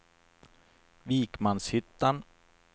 Vikmanshyttan